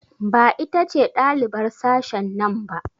Ba ita ce ɗalibar sashen nan ba?